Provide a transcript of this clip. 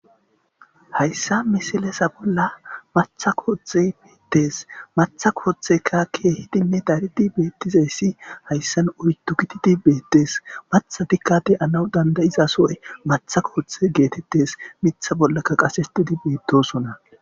hayssa misilesa bolla matha koothe beettes matha kooththe kakkeehidinne daridi beettizayssi hayssan oytu kitidi beettes mathatikade anaw dandayiza sooy matha koothe geetettes mitha bollaka qasetidi beettosona